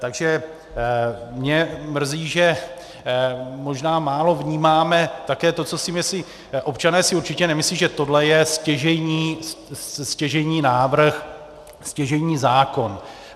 Takže mě mrzí, že možná málo vnímáme také to, co si myslí - občané si určitě nemyslí, že tohle je stěžejní návrh, stěžejní zákon.